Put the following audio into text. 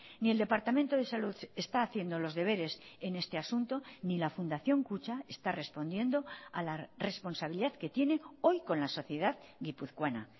ni el departamento de salud está haciendo los deberes en este asunto ni la fundación kutxa está respondiendo a la responsabilidad que tiene hoy con la sociedad guipuzcoana